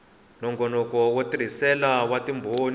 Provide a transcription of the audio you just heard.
nongonoko wa nsirhelelo wa timbhoni